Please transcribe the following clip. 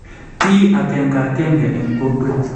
Ti akenka kenke eng kokweet